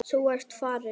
Þú ert farin.